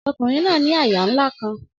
Ọkunrin naa ni àyà nla kan